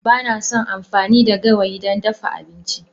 Ba na son amfani da gawayi don dafa abinci.